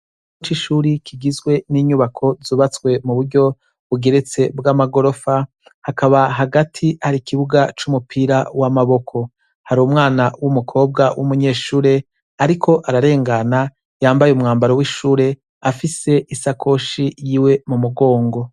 Mukigo c'ishure kigizwe n'inyubako zubatswe m'uburyo bugeretse bw'amagorofa hakaba hagati har'ikibuga c'umupira w'amaboko. Har'umwana w'umukobwa w'umunyeshure ariko ararengana yambaye umwambaro w'ishure afise isakoshi yiwe mumugongo.